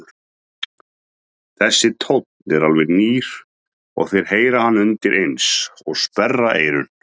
Þessi tónn er alveg nýr og þeir heyra hann undireins og sperra eyrun.